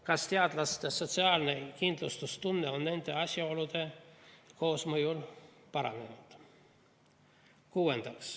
Kas teadlaste sotsiaalne kindlustunne on nende asjaolude koosmõjul paranenud?